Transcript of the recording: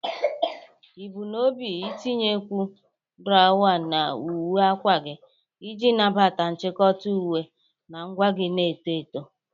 Ị bu n'obi itinyekwu drawa na uwe akwa gị iji nabata nchịkọta uwe na ngwa gị na-eto eto.